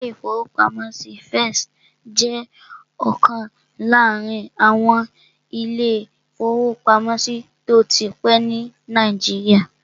Ilé-ìfowópamọ́sí First jẹ́ ọ̀kan láàrin àwọn ilé-ìfowópamọ́sí tó ti pẹ́ ní Nàìjíríà